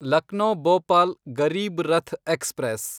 Lucknow Bhopal Garib Rath express